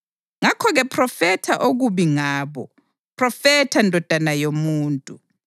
Ngakho-ke phrofetha okubi ngabo; phrofetha ndodana yomuntu.”